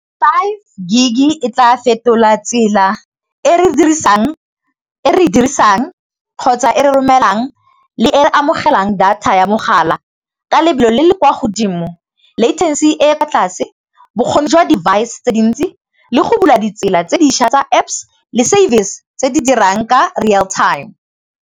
Five gig-e e tla fetola tsela e re e dirisang kgotsa e re romelang le e re amogelang data ya mogala ka lebelo le le kwa godimo, e e kwa tlase, bokgoni jwa device tse dintsi le go bula ditsela tse dišwa tsa Apps le service tse di dirang ka real time.